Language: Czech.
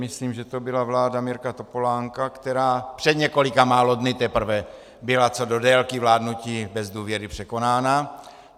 Myslím, že to byla vláda Mirka Topolánka, která před několika málo dny teprve byla co do délky vládnutí bez důvěry překonána.